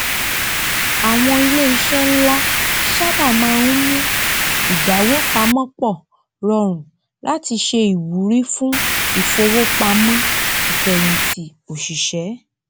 àwọn iléiṣẹ nla sábà máa ń mú ìdáwó pamọ pọ rọrùn látí se ìwúrí fún ìfowópamọn ìfẹyìntì òsìṣẹ